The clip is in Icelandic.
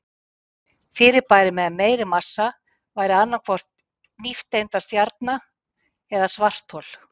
Fyrirbæri með meiri massa væri annað hvort nifteindastjarna eða svarthol.